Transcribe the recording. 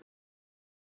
Ég verð að fara, sagði